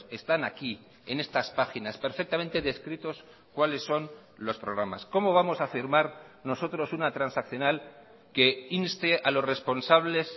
están aquí en estas páginas perfectamente descritos cuáles son losprogramas cómo vamos a firmar nosotros una transaccional que inste a los responsables